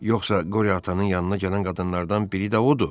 Yoxsa Qoryo atanın yanına gələn qadınlardan biri də odur?